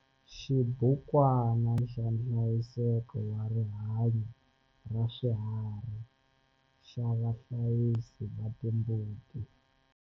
Xibukwana xa nhlayiseko wa rihanyo ra swiharhi xa vahlayisi va timbuti.